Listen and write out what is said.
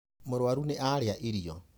Mũrũarũ nĩ arĩa irio.